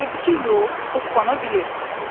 Sonra gördü ki, yox, hoppana bilir.